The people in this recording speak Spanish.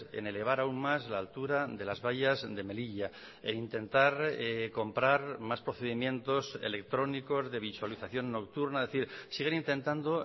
en elevar aún más la altura de las vallas de melilla e intentar comprar más procedimientos electrónicos de visualización nocturna es decir siguen intentando